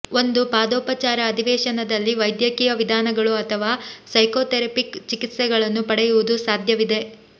ಒಂದು ಪಾದೋಪಚಾರ ಅಧಿವೇಶನದಲ್ಲಿ ವೈದ್ಯಕೀಯ ವಿಧಾನಗಳು ಅಥವಾ ಸೈಕೋಥೆರಪಿಕ್ ಚಿಕಿತ್ಸೆಗಳನ್ನು ಪಡೆಯುವುದು ಸಾಧ್ಯವಿದೆ